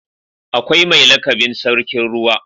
Akwai mai lakabin sarkin ruwa.